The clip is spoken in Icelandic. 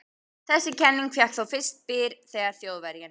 Þessi kenning fékk þó fyrst byr þegar Þjóðverjinn